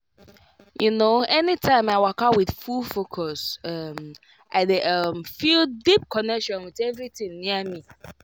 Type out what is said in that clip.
you know anytime i waka with full focus um i dey um feel deep connection with everything near me.